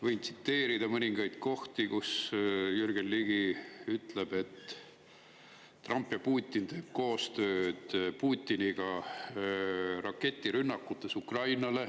Võin tsiteerida mõningaid kohti, kus Jürgen Ligi ütleb, et Trump teeb Putiniga koostööd raketirünnakutes Ukrainale.